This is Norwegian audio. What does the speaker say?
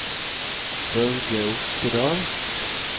Børge Oftedal